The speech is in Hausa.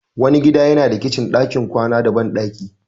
Wani gida yana da kicin, ɗakin kwana da bandaki.